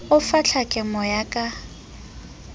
o fa ntlhakemo ya ka